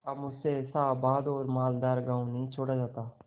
अब मुझसे ऐसा आबाद और मालदार गॉँव नहीं छोड़ा जाता